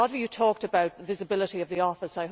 A lot of you talked about the visibility of the office.